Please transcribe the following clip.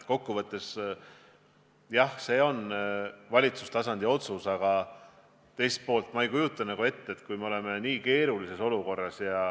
Kokkuvõttes, jah, see on valitsuse tasandi otsus, aga teisalt ei kujuta ma ette, et kui oleme nii keerulises olukorras ...